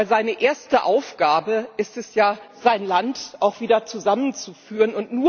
Denn seine erste Aufgabe ist es ja, sein Land auch wieder zusammenzuführen.